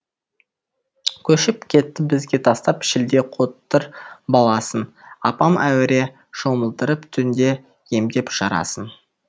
көшіп кетті бізге тастап шілде қотыр баласын апам әуре шомылдырып түнде емдеп жарасын